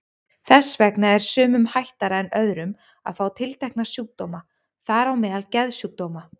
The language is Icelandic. Þess vegna er sumum hættara en öðrum að fá tiltekna sjúkdóma, þar á meðal geðsjúkdóma.